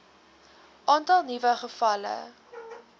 aantal nuwe gevalle